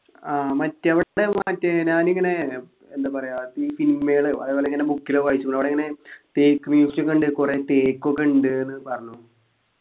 ആഹ് നാനിങ്ങനെ എന്താ പറയാ ഈ cinema യിലും അതുപോലിങ്ങനെ book ലോ വായിച്ചു അവിടിങ്ങനെ തേക്ക് museum ക്കിണ്ട് കൊറേ തേക്ക് ഒക്കെ ഉണ്ട്ന്നു പറഞ്ഞു